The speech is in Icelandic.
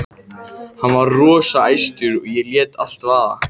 Hann var rosa æstur og lét allt vaða.